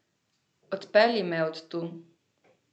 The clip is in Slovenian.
Odpelji me od tu!